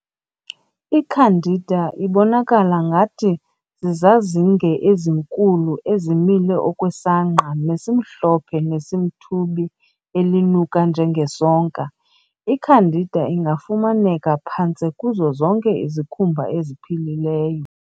I-"Candida" ibonakala ngathi zizazinge ezinkulu ezimile okwesangqa nesimhlophe nesimthubi elinuka njengesonka.I-"Candida" ingafumaneka phantse kuzo zonke izikhumba eziphilileyo.